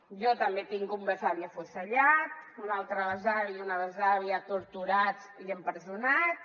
jo també tinc un besavi afusellat un altre besavi i una besàvia torturats i empresonats